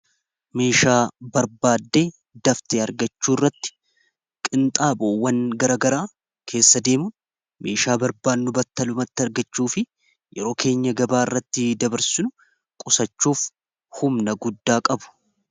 Meeshaa barbaaddee daftee argachuu irratti qinxaaboowwan garagaraa keessa deemu meeshaa barbaannu battalumatti argachuu fi yeroo keenya gabaa irratti dabarsinu qusachuuf humna guddaa qabu.